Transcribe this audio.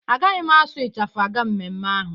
Agaghị m asụ ịchafụ aga mmemme ahụ.